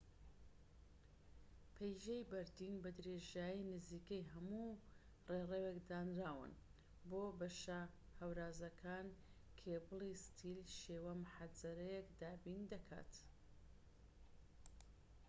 پەیژەی بەردین بە درێژایی نزیکەی هەموو ڕێڕەوێک دانراون و بۆ بەشە هەورازەکان کێبڵی ستیل شێوە محەجەرەیەک دابین دەکات